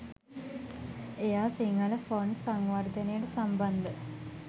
එයා සිංහල ෆොන්ට් සංවර්ධනයට සම්බන්ධ